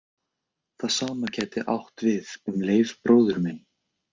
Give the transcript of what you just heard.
Það sama gæti átt við um Leif bróður minn.